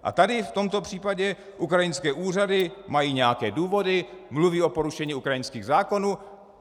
A tady, v tomto případě, ukrajinské úřady mají nějaké důvody, mluví o porušení ukrajinských zákonů.